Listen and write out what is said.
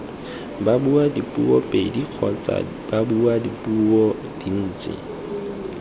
babuadipuo pedi kgotsa babuadipuo dintsi